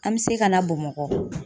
An bɛ se ka na Bamakɔ.